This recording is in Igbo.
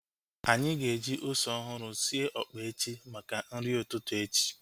Anyị ga-eji ose ọhụrụ sie ọkpa echi maka nri ụtụtụ echi